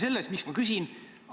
Miks ma seda küsin?